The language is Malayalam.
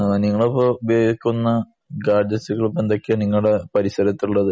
നിങ്ങൾ ഉപയോഗിക്കുന്ന ഗാഡ്ജറ്റ്‌സുകൾ ഏന്തൊക്കെയാണ് നിങ്ങളുടെ പരിസരത്തു ഉള്ളത്